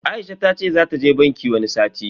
Aisha tace zata je banki wani sati.